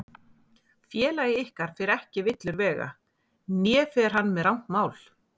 Félagi ykkar fer ekki villur vega, né fer hann með rangt mál.